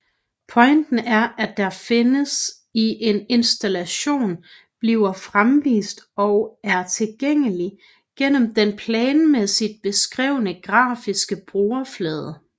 Pointen er at det der findes i en installation bliver fremvist og er tilgængelig gennem den planmæssigt beskrevne grafiske brugerflade